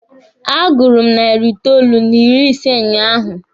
A gụrụ m narị itoolu n'ịrị ise unyaahụ.